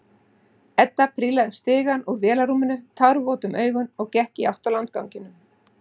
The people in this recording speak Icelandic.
Edda prílaði upp stigann úr vélarrúminu, tárvot um augun og gekk í átt að landganginum.